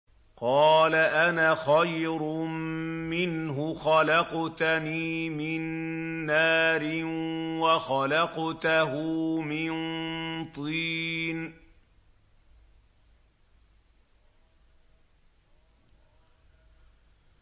قَالَ أَنَا خَيْرٌ مِّنْهُ ۖ خَلَقْتَنِي مِن نَّارٍ وَخَلَقْتَهُ مِن طِينٍ